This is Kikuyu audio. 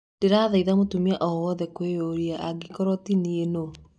Ndĩrathĩng'a mũtumia o wothe thĩ yothe kwĩyũria, " angĩkorwo ti niĩ, nũũ ?